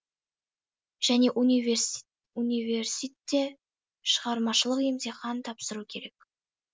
және университте шығармашылық емтихан тапсыру керек